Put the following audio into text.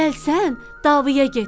Gəlsən, davaya get.